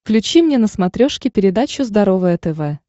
включи мне на смотрешке передачу здоровое тв